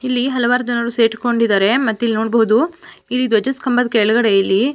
ಇಲ್ಲಿ ಹಲವಾರು ಜನರು ಸೇರಿಕೊಂಡಿದ್ದಾರೆ ಮತ್ ಇಲ್ಲಿ ನೋಡಬಹುದು ಇಲ್ಲಿ ಧ್ವಜ ಸ್ಥನೆಂಬದ ಕೆಳಗಡೆ ಇಲ್ಲಿ--